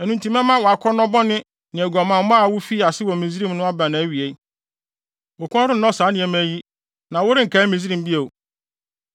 Ɛno nti mɛma wʼakɔnnɔ bɔne ne aguamammɔ a wufii ase wɔ Misraim no aba nʼawie. Wo kɔn rennɔ saa nneɛma yi, na worenkae Misraim bio.